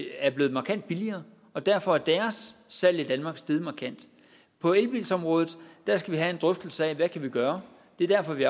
er blevet markant billigere og derfor er salget af dem steget markant på elbilområdet skal vi have en drøftelse af hvad vi kan gøre det er derfor at vi